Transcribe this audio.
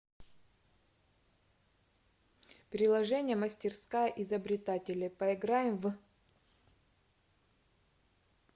приложение мастерская изобретателя поиграем в